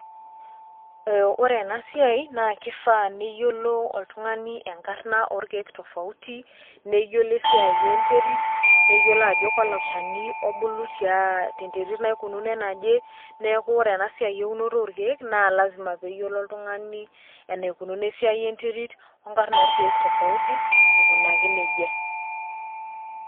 Ore ena siai naa kifaa neyiolo oltung'ani enkarna orkeek tofauti, neyiolo esiai enterit, neyiolo ajo kalo shani obulu tia te neterit naikunuo enaje. Neeku ore ena siai eunoto orkeek naa lazima pee eyiolo oltung'ani enaikununo esiai enterit o nkarn orkeek tofauti aikunaki neija.